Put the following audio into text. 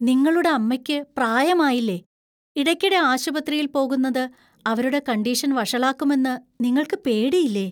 നിങ്ങളുടെ അമ്മയ്ക്ക് പ്രായമായില്ലേ? ഇടയ്ക്കിടെ ആശുപത്രിയില്‍ പോകുന്നത് അവരുടെ കണ്ടീഷൻ വഷളാക്കുമെന്ന് നിങ്ങൾക്ക് പേടിയില്ലേ?